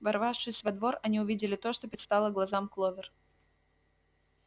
ворвавшись во двор они увидели то что предстало глазам кловер